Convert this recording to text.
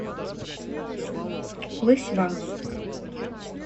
лысьва